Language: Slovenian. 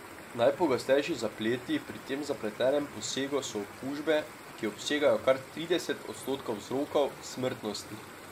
Najpogostejši zapleti pri tem zapletenem posegu so okužbe, ki obsegajo kar trideset odstotkov vzrokov smrtnosti.